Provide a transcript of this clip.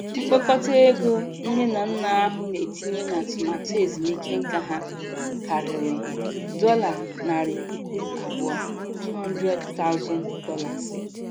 Mkpokọta ego nne na nna ahụ na-etinye n'atụmaatụ ezumike nká ha karịrị dollar narị puku abụọ ($200,000).